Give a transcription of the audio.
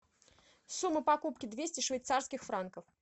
сумма покупки двести швейцарских франков